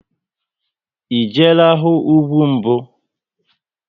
E jeela hụ ugwu mbụ?